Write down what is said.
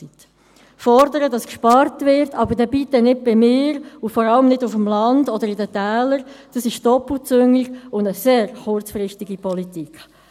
Fordern, dass gespart wird, aber bitte nicht bei mir, und vor allem nicht auf dem Land und in den Tälern, ist doppelzüngig und eine sehr kurzsichtige Politik.